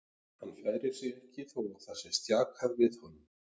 Hann færir sig ekki þó að það sé stjakað við honum.